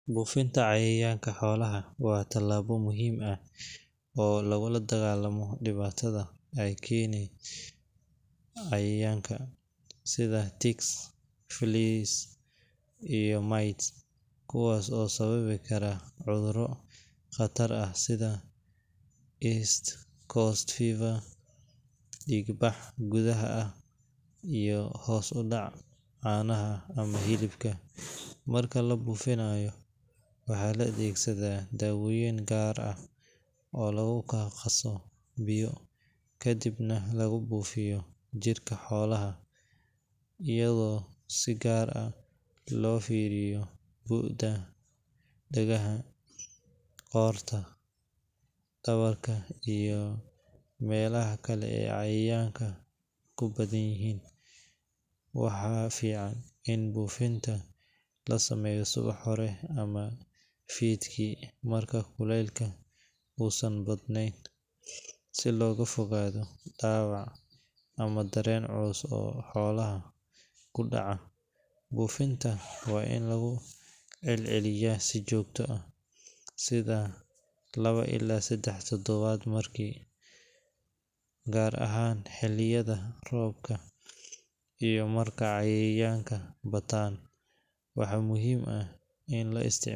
Buufinta cayayaanka xoolaha waa tallaabo muhiim ah oo lagula dagaallamo dhibaatada ay keenaan cayayaanka sida ticks, fleas, iyo mites kuwaas oo sababi kara cudurro khatar ah sida East Coast Fever, dhiig bax gudaha ah, iyo hoos u dhaca caanaha ama hilibka. Marka la buufinayo, waxaa la adeegsadaa daawooyin gaar ah oo lagu qaso biyo, kadibna lagu buufiyo jirka xoolaha iyadoo si gaar ah loo fiiro bu’da dhagaha, qoorta, dhabarka iyo meelaha kale ee cayayaanku ku badan yihiin. Waxaa fiican in buufinta la sameeyo subax hore ama fiidkii marka kuleylka uusan badnayn, si looga fogaado dhaawac ama dareen culus oo xoolaha ku dhaca. Buufinta waa in lagu celceliyo si joogto ah, sida laba ilaa saddex toddobaadba mar, gaar ahaan xilliyada roobka iyo marka cayayaanku bataan. Waxaa muhiim ah in la isticma.